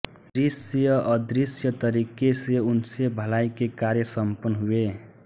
दृश्य अदृश्य तरीके से उनसे भलाई के कार्य सम्पन्न हुए